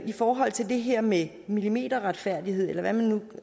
i forhold til det her med millimeterretfærdighed eller hvad man nu